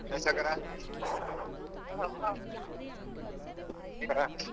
ಹೇಳು ಸಾವ್ಕಾರ. ಹಾ